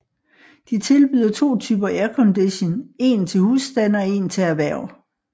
De tilbyder to typer aircondition en til husstande og en til erhverv